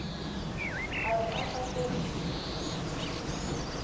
a re a sa ferile